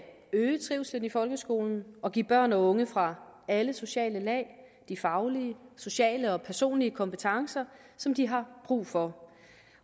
øge trivslen i folkeskolen og give børn og unge fra alle sociale lag de faglige sociale og personlige kompetencer som de har brug for